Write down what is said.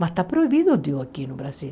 Mas está proibido o diu aqui no Brasil.